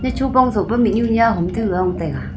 echu pao tsoh pa mihnyu nya hom tu hong taega.